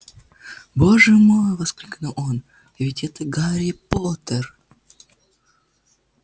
боже мой воскликнул он да ведь это гарри поттер